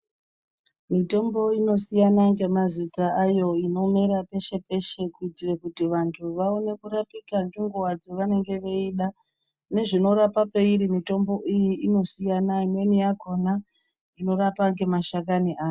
Mitombo inosiyana nemazita ayo avaone peshe peshe kuti vamwe vantu vaone kurapika nenguwa dzavanenge veida zvinorapa pairi mutombo yacho inosiyana pona panorapa nemashakani ayo.